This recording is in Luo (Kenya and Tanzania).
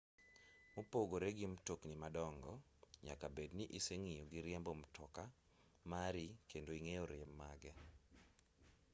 mopogore gi mtokni madongo nyaka bed ni iseng'iyo gi riembo mtoka mari kendo ing'eyo rem mage